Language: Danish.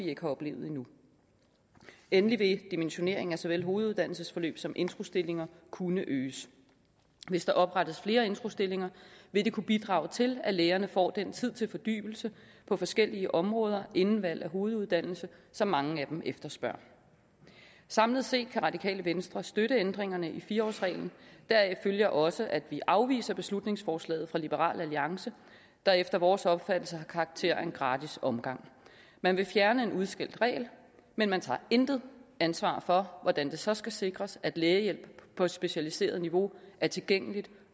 ikke har oplevet endnu endelig vil dimensioneringen af såvel hoveduddannelsesforløbet som af introstillingerne kunne øges hvis der oprettes flere introstillinger vil det kunne bidrage til at lægerne får den tid til fordybelse på forskellige områder inden valget af hoveduddannelse som mange af dem efterspørger samlet set kan radikale venstre støtte ændringerne i fire årsreglen deraf følger også at vi afviser beslutningsforslaget fra liberal alliance der efter vores opfattelse har karakter af en gratis omgang man vil fjerne en udskældt regel men man tager intet ansvar for hvordan det så skal sikres at lægehjælp på et specialiseret niveau er tilgængeligt